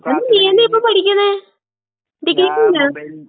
അതിന് നീയെന്നാ ഇപ്പപ്പഠിക്കണേ? ഡിഗ്രിക്ക് പോണ്ടാ?